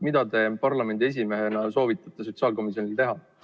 Mida te parlamendi esimehena soovitate sotsiaalkomisjonil teha?